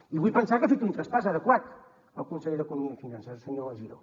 i vull pensar que ha fet un traspàs adequat al conseller d’economia i finances el senyor giró